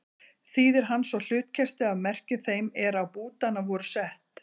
Þýðir hann svo hlutkestið af merkjum þeim er á bútana voru sett.